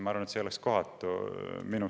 Ma arvan, et see oleks minust kohatu.